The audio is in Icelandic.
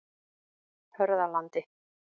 Hörðalandi